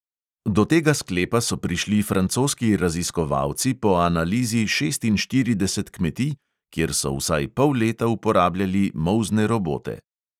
Do tega sklepa so prišli francoski raziskovalci po analizi šestinštirideset kmetij, kjer so vsaj pol leta uporabljali molzne robote.